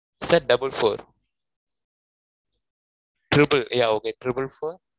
sir double four trible four two two yeah okay trible four